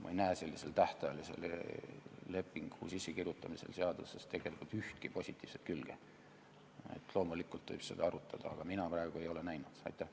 Ma ei näe tähtajalise lepingu sissekirjutamisel seadusesse tegelikult ühtki positiivset külge, loomulikult võib seda arutada, aga mina ei ole neid näinud.